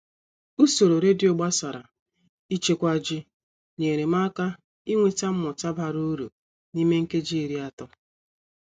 Usoro redio gbasara ịchekwa ji nyere m aka inweta mmụta bara uru n'ime nkeji iri atọ